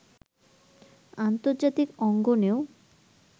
আন্তর্জাতিক অঙ্গনেও